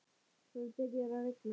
Það byrjar að rigna.